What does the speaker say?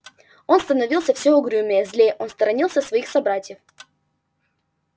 он становился всё угрюмее злее он сторонился своих собратьев